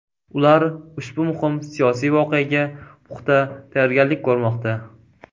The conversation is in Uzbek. Ular ushbu muhim siyosiy voqeaga puxta tayyorgarlik ko‘rmoqda.